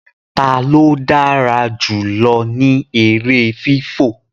talo dára jùlọ ní èrè fifọ?